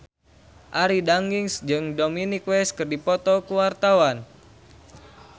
Arie Daginks jeung Dominic West keur dipoto ku wartawan